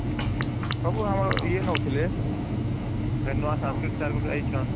ସବୁ ବେଳେ ଆମର ଇୟେ ନଉଥିଲେ ଏବେ ନୂଆ Sanskrit sir ଗୋଟେ ଆଇଛନ